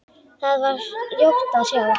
Þar var ljótt að sjá.